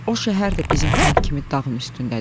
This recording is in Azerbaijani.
O şəhər də bizim kənd kimi dağın üstündədir.